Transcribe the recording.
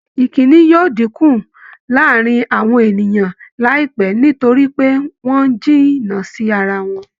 ìkínni yóò dínkù láàárin àwọn ènìyàn láìpẹ́ nítorí pé wọ́n ń jìnnà sí ara wọn